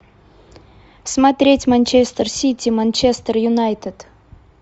смотреть манчестер сити манчестер юнайтед